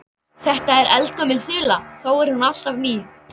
Þetta er eldgömul þula þó er hún alltaf ný.